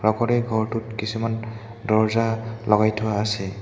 লগতে ঘৰটোত কিছুমান দৰ্জা লগাই থোৱা আছে।